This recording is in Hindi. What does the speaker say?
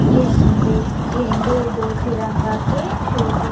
झंडे झंडे दो तिरंगा के शो पीस --